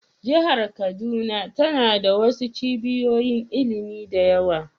Jihar kaduna tana da wasu cibiyoyin ilimi da yawa